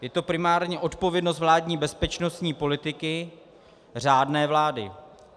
Je to primárně odpovědnost vládní bezpečnostní politiky řádné vlády.